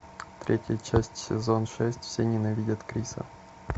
третья часть сезон шесть все ненавидят криса